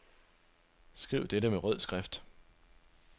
Skriv dette med rød skrift.